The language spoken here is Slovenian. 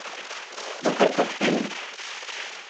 Dober koktejl.